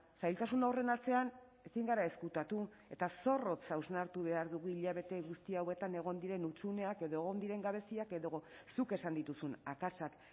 zailtasun horren atzean ezin gara ezkutatu eta zorrotz hausnartu behar dugu hilabete guzti hauetan egon diren hutsuneak edo egon diren gabeziak edo zuk esan dituzun akatsak